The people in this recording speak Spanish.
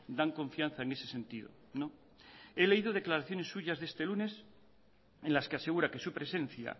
dan confianza en ese sentido no he leído declaraciones suyas de este lunes en las que asegura que su presencia